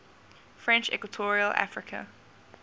french equatorial africa